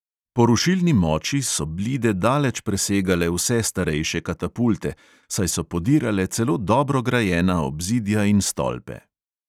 Po rušilni moči so blide daleč presegale vse starejše katapulte, saj so podirale celo dobro grajena obzidja in stolpe.